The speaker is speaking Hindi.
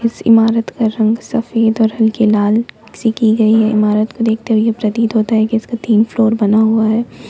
इस इमारत का रंग सफेद और हल्के लाल किसी की गई है इमारत को देखते हुए प्रतीत होता है कि इसका तीन फ्लोर बना हुआ है।